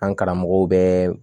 An karamɔgɔw bɛɛ